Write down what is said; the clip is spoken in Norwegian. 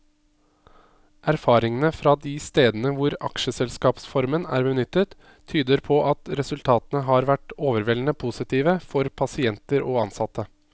Erfaringene fra de stedene hvor aksjeselskapsformen er benyttet, tyder på at resultatene har vært overveldende positive for pasienter og ansatte.